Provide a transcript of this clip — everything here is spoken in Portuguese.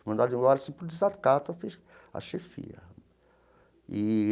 Mandado embora assim por desacato a a chefia e.